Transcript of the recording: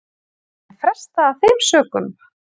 Var henni frestað af þeim sökum